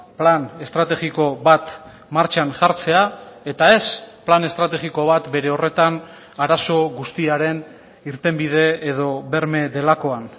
plan estrategiko bat martxan jartzea eta ez plan estrategiko bat bere horretan arazo guztiaren irtenbide edo berme delakoan